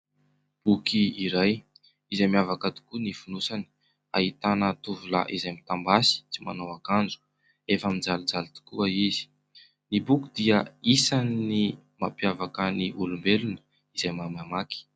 Boky iray izay miavaka tokoa ny fonosany. Ahitana tovolahy izay mitam-basy, tsy manao akanjo, efa mijalijaly tokoa izy. Ny boky dia isan'ny mampiavaka ny olombelona izay mahay mamaky.